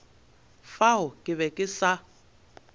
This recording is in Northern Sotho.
fao ke be ke sa